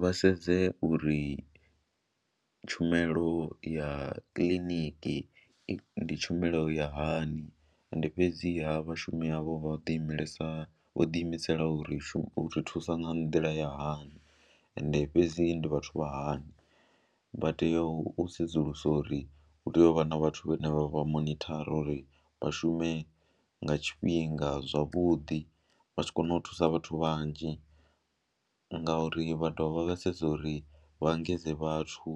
Vha sedze uri tshumelo ya kiḽiniki ndi tshumelo ya hani ende fhedziha vhashumi avho vha ḓimelasa, vho ḓiimisela u ri shu, u ri thusa nga nḓila ya hani ende fhedzi ndi vhathu vha hani, vha tea u sedzulusa uri hu tea u vha na vhathu vhane vha vha monithara uri vha shume nga tshifhinga zwavhuḓi, vha tshi kona u thusa vhathu vhanzhi ngauri vha dovha vha vha sedza uri vha engedze vhathu